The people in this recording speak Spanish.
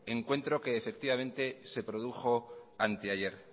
encuentro que efectivamente se produjo anteayer